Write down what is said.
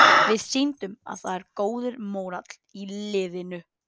Við sýndum að það er góður mórall í liðinu.